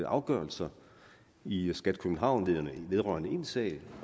afgørelse i skat københavn vedrørende en sag